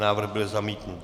Návrh byl zamítnut.